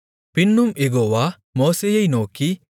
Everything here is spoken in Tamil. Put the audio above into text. பின்னும் யெகோவா மோசேயை நோக்கி